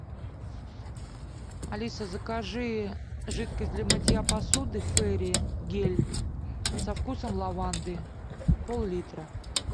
алиса закажи жидкость для мытья посуды фейри гель со вкусом лаванды пол литра